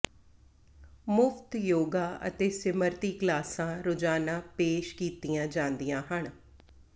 ਮੁਫ਼ਤ ਯੋਗਾ ਅਤੇ ਸਿਮਰਤੀ ਕਲਾਸਾਂ ਰੋਜ਼ਾਨਾ ਪੇਸ਼ ਕੀਤੀਆਂ ਜਾਂਦੀਆਂ ਹਨ